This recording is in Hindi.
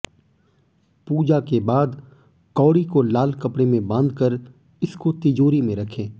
पूजा के बाद कौड़ी को लाल कपड़े में बांधकर इसको तिजोरी में रखें